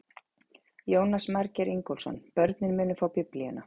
Jónas Margeir Ingólfsson: Börnin munu fá biblíuna?